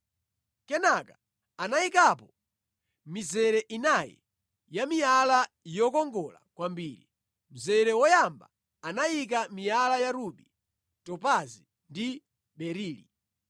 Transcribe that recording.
Kenaka anayikapo mizere inayi ya miyala yokongola kwambiri. Mzere woyamba anayika miyala ya rubi, topazi ndi berili;